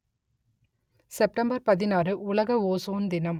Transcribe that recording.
September பதினாறு உலக ozone தினம்